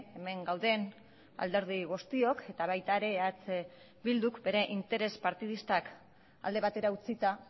hemen gauden alderdi guztiok eta baita eh bilduk ere bere interes partidistak alde batera utzita